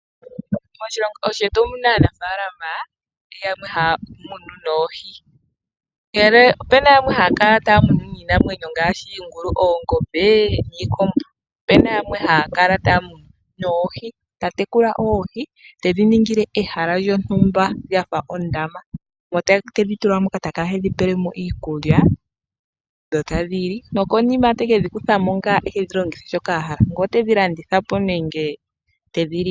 Moshilongo shetu omu na aanafaalama yamwe haya munu noohi. Ndele opu na yamwe haya kala taya munu niinamwenyo ngaashi oongombe, iingulu niikombo. Opu na yamwe haya kala taya munu noohi, ta tekula oohi tedhi ningile ehala lyondumba lya fa ondama. Omo tedhi tula moka ta kala tedhi pele mo iikulya dho tadhi li, nokonima teke dhi kutha mo ngaa e dhi longithe shoka a hala, ngele otedhi landitha po nenge tedhi li po.